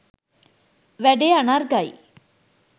වැඩේ අනර්ඝයි